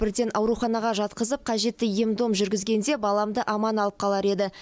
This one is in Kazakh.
бірден ауруханаға жатқызып қажетті ем дом жүргізгенде баламды аман алып қалар еді